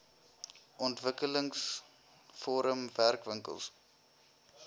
ontwikkelings forum werkwinkels